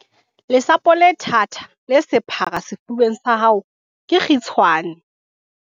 lesapo le thata, le sephara sefubeng sa hao ke kgitshane